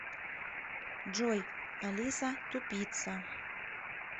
джой алиса тупица